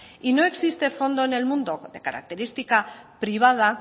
y no existe fondo en el mundo de característica privada